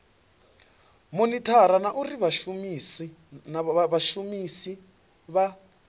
monithara na uri vhashumisi vha